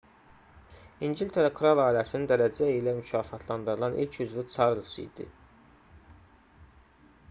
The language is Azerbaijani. i̇ngiltərə kral ailəsinin dərəcə ilə mükafatlandırılan ilk üzvü çarlz idi